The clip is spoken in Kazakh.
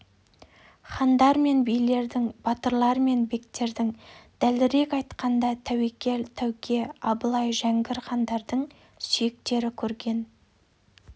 хандар мен билердің батырлар мен бектердің дәлірек айтқанда тәуекел тәуке абылай жәңгір хандардың сүйектері көрден